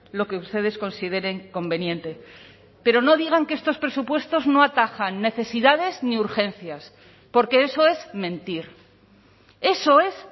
lo que ustedes consideren conveniente pero no digan que estos presupuestos no atajan necesidades ni urgencias porque eso es mentir eso es